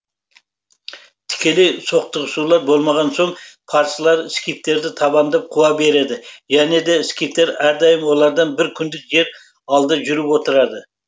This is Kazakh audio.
тікелей соқтығысулар болмаған соң парсылар скифтерді табандап қуа береді және де скифтер әрдайым олардан бір күндік жер алда жүріп отырады